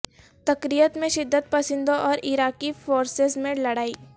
Tikrit میں شدت پسندوں اور عراقی فورسز میں لڑائی